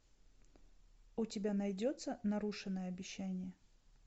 у тебя найдется нарушенное обещание